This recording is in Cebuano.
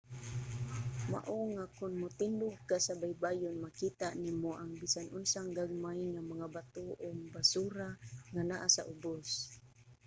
mao nga kon motindog ka sa baybayon makita nimo ang bisan unsang gagmay nga mga bato o mga basura nga naa sa ubos